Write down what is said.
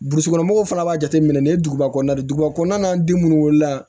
Burusi kɔnɔ mɔgɔw fana b'a jateminɛ nin ye duguba kɔnɔna de ye duguba kɔnɔna den munnu wolola